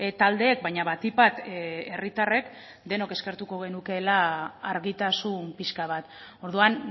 taldeek baina batik bat herritarrek denok eskertuko genukeela argitasun pixka bat orduan